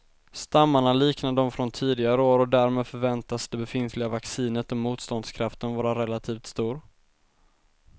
Stammarna liknar de från tidigare år och därmed förväntas det befintliga vaccinet och motståndskraften vara relativt stor.